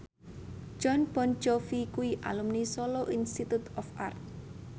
Jon Bon Jovi kuwi alumni Solo Institute of Art